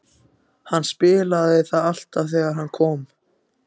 Hann spilaði það alltaf þegar hann kom.